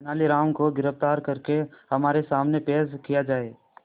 तेनालीराम को गिरफ्तार करके हमारे सामने पेश किया जाए